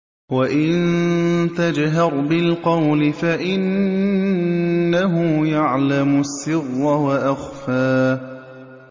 وَإِن تَجْهَرْ بِالْقَوْلِ فَإِنَّهُ يَعْلَمُ السِّرَّ وَأَخْفَى